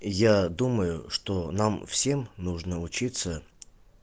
я думаю что нам всем нужно учиться